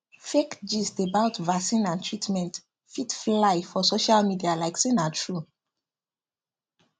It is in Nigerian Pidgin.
fake gist about vaccine and treatment fit fly for social media like say na true